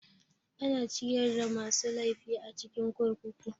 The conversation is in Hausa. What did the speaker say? Ana ciyar da masu laifi a cikin kurkuku.